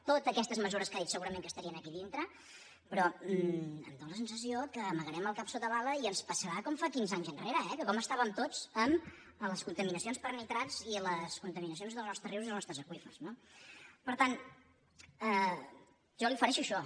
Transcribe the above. totes aquestes mesures que ha dit segurament estarien aquí dintre però em dóna la sensació que amagarem el cap sota l’ala i ens passarà com fa quinze anys enrere eh que com estàvem tots amb les contaminacions per nitrats i les contaminacions dels nostres rius i els nostres aqüífers no per tant jo li ofereixo això